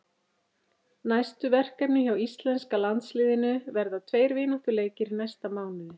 Næstu verkefni hjá íslenska landsliðinu verða tveir vináttuleikir í næsta mánuði.